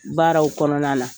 Baaraw kɔnɔna na.